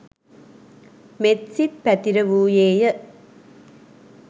මෙත්සිත් පැතිර වූයේය.